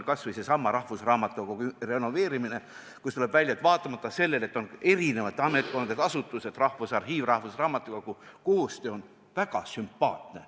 See on seesama rahvusraamatukogu renoveerimine, mille puhul on välja tulnud, et vaatamata sellele, et tegu on eri ametkondade asutustega – Rahvusarhiiv ja rahvusraamatukogu –, on koostöö väga sümpaatne.